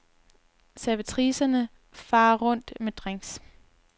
Servitricerne farer rundt med drinks.